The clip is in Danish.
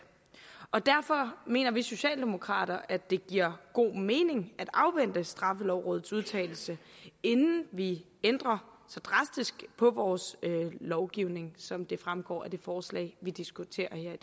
derfor mener vi socialdemokrater at det giver god mening at afvente straffelovrådets udtalelse inden vi ændrer så drastisk på vores lovgivning som det fremgår af det forslag vi diskuterer